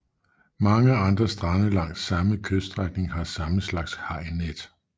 Mange andre strande langs samme kyststrækning har samme slags hajnet